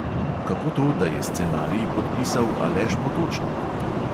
Kako to, da je scenarij podpisal aleš potočnik?